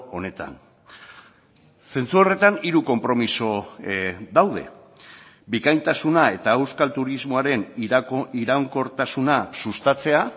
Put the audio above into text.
honetan zentzu horretan hiru konpromiso daude bikaintasuna eta euskal turismoaren iraunkortasuna sustatzea